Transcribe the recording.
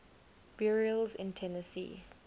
burials in tennessee